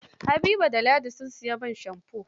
Habiba da ladi, sun sayi man shamfo.